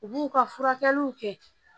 U b'u ka furakɛliw kɛ